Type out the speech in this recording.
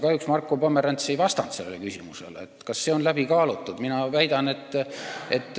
Kahjuks ei vastanud Marko Pomerants sellele küsimusele, kas see on läbi kaalutud.